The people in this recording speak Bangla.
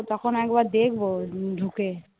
তখন একবার দেখব ঢু ঢুকে